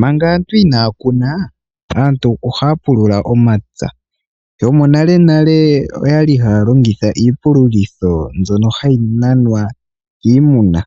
Manga aantu inaya kuna aantu ohaya pulula omapya. Yomonalenale okwali haya longitha iipululitho mbyono hayi nanwa kiimuna,